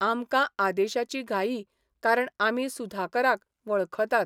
आमकां आदेशाची घाई कारण आमी सुधाकराक वळखतात.